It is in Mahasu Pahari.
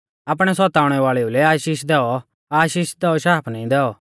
आपणै सताउणै वाल़ेउ लै आशीष दैऔ आशीष दैऔ शाप नाईं दैऔ